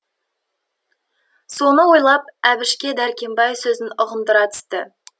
соны ойлап әбішке дәркембай сөзін ұғындыра түсті